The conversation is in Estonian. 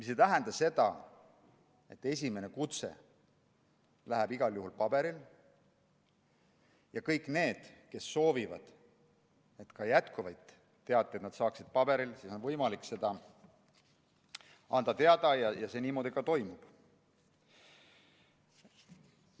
See tähendab aga ka seda, et esimene kutse läheb igal juhul paberil ja kõigil neil, kes soovivad, et nad ka jätkuvalt saaksid teateid paberil, on võimalik seda teada anda ja see niimoodi siis ka toimub.